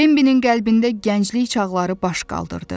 Bembinin qəlbində gənclik çağları baş qaldırdı.